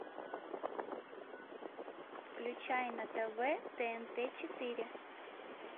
включай на тв тнт четыре